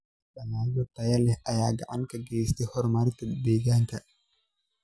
Dalagyo tayo leh ayaa gacan ka geysta horumarinta deegaanka.